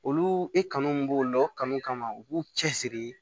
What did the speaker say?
Olu i kanu min b'u la o kanu kama u b'u cɛsiri